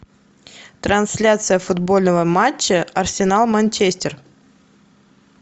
трансляция футбольного матча арсенал манчестер